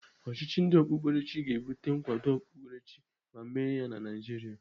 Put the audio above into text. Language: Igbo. Ọchịchị ndị okpukperechi ga-ebute nkwado okpukperechi ma eme ya na Naịjiria.